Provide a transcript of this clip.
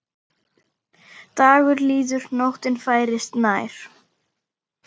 Dagur líður, nóttin færist nær.